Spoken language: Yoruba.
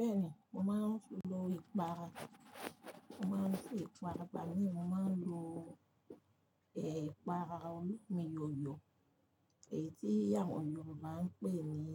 Bẹ́ẹ̀ni, mo máa ń lo ìpara, mo máa ń lo ìpara, ìgbà mí ì mo máa ń lo ẹ̀ ìpara olómi yòyò èyí tí àwọn Yorùbá ń pè ní